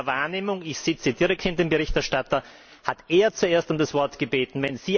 Aus meiner Wahrnehmung ich sitze direkt hinter dem Berichterstatter hat er zuerst um das Wort gebeten.